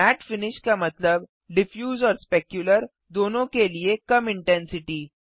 mat finish का मतलब diffuse और स्पेक्युलर दोनों के लिए कम इंटेंसिटी